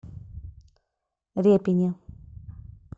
репине